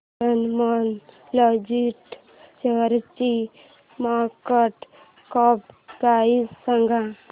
Snowman logistics शेअरची market cap price सांगा